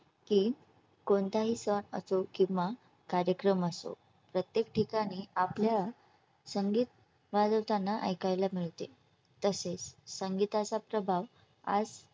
की कोणत्याही सण असो किंवा कार्यक्रम असो. प्रत्येक ठिकाणी आपल्या संगीत वाजवताना ऐकायला मिळते. तसेच संगीताचा प्रभाव आज